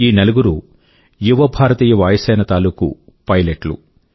ఈ నలుగురు యువ భారతీయ వాయుసేన తాలూకూ పైలెట్లు